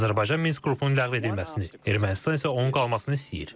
Azərbaycan Minsk qrupunun ləğv edilməsini, Ermənistan isə onun qalmasını istəyir.